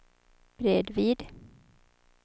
bredvid